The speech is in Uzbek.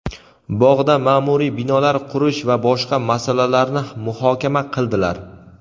bog‘da ma’muriy binolar qurish va boshqa masalalarni muhokama qildilar.